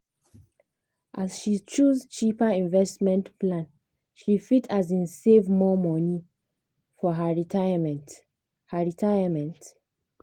as she choose cheaper investment plan she fit um save more money for her retirement. her retirement.